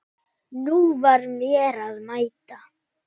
Nú var mér að mæta!